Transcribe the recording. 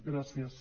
gràcies